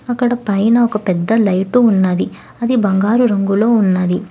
అక్కడ పైన ఒక పెద్ద లైటు ఉన్నది అది బంగారు రంగులో ఉన్నది.